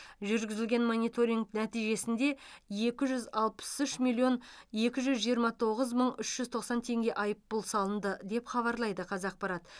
жүргізілген мониторинг нәтижесінде екі жүз алпыс үш миллион екі жүз жиырма тоғыз мың ұш жүз тоқсан теңге айыппұл салынды деп хабарлайды қазақпарат